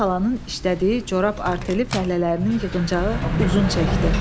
Əminə xalanın işlədiyi corab arteli fəhlələrinin yığıncağı uzun çəkdi.